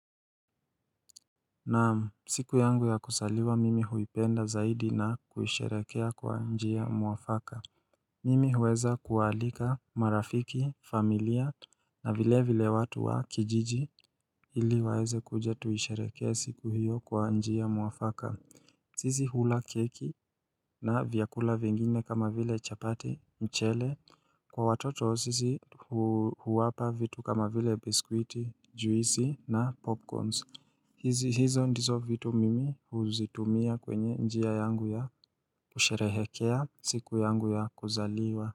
Naam siku yangu ya kuzaliwa mimi huipenda zaidi na kuisherehekea kwa njia mwafaka Mimi huweza kuwaalika marafiki familia na vile vile watu wa kijiji ili waweze kuja tuisherehekee siku hiyo kwa njia mwafaka sisi hula keki na vyakula vingine kama vile chapati, mchele, kwa watoto sisi huwapa vitu kama vile biskwiti, juisi na popcorns hizo ndizo vitu mimi huzitumia kwenye njia yangu ya kusherehekea siku yangu ya kuzaliwa.